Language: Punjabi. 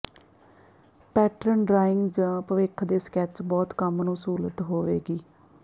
ਪੈਟਰਨ ਡਰਾਇੰਗ ਜ ਭਵਿੱਖ ਦੇ ਸਕੈੱਚ ਬਹੁਤ ਕੰਮ ਨੂੰ ਸਹੂਲਤ ਹੋਵੇਗੀ